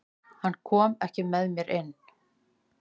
Hann kom ekki með mér inn.